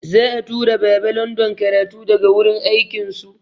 Za'a tura Baba London karatu daga wurin akin su.